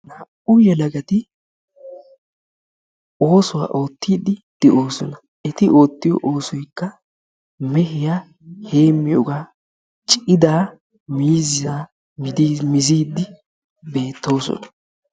naa"u yelagati oosuwaa oottidi de'oosona; eti oottiyo oosoykka meehiyaa heemiyooga; cidaa miizzaa miizide beettoosona.